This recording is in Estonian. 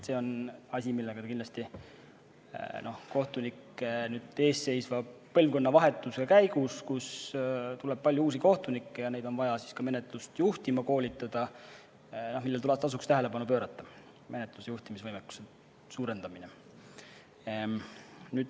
See on asi, millele teil kindlasti tasuks kohtunike eesseisva põlvkonnavahetuse käigus, kus peale tuleb palju uusi kohtunikke ja neid on vaja ka menetlust juhtima koolitada, tähelepanu pöörata – menetlusjuhtimise võimekuse suurendamisele.